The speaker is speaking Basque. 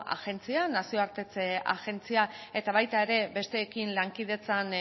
agentzia nazioartetze agentzia eta baita ere besteekin lankidetzan